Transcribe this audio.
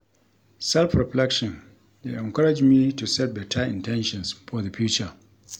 Self-reflection dey encourage me to set better in ten tions for the future.